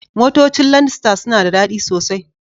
Motocin landstar suna da dadi sosai.